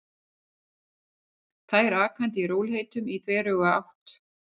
Þær akandi í rólegheitum í þveröfuga átt.